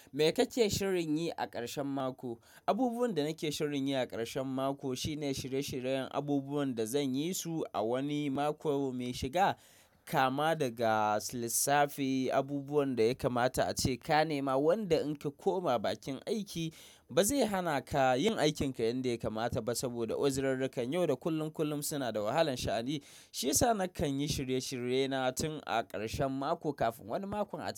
Me kake shirin yi a ƙarshen mako? Abubuwan da nake shirin yi a ƙarshen mako shine shirye-shiryen abubuwan da zan yi su a wani mako mai shiga. Kama daga lissafi abubuwan da ya kamata a ce ka nema. Wanda in ka koma bakin aiki ba zai hana ka yin aikinka yanda ya kamata ba saboda uzirarkan. Yau da kullum kullum suna da wahalan sha'ani. Shi yasa nakan yi shirye-shirye na tun a ƙarshen mako kafin wani mako a tafi.